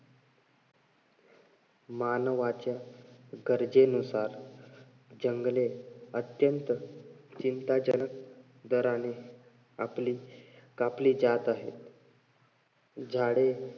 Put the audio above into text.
मानवाच्या गरजेनुसार जंगले अत्यंत चिंताजनक दराने कापली जात आहेत. झाडे